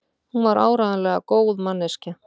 Hún var áreiðanlega góð manneskja.